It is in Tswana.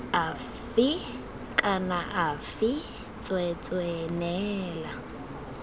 afe kana afe tsweetswee neela